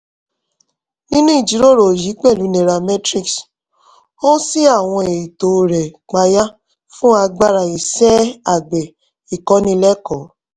nínú ìjíròrò yìí pẹ̀lú nairametrics ó ṣí àwọn ètò rẹ̀ payá fún agbára iṣẹ́ àgbẹ̀ ìkọ́nilẹ́kọ̀ọ́